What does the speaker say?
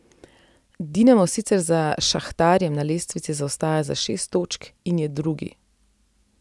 Dinamo sicer za Šahtarjem na lestvici zaostaja za šest točk in je drugi.